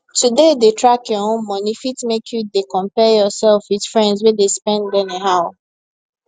to dey dey track your own money fit make you dey compare yourself with friends wey de spend anyhow